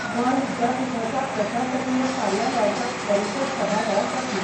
गोंय विद्यापिठाच्या प्रशासकिय कार्यालयाच्या परिशद सभाघरांत जातली.